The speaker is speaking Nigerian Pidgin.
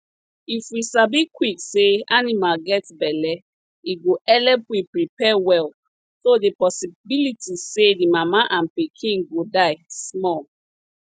if we sabi quick sey animal get belle e go helep we prepare well so the possibility say the mama and pikin go die small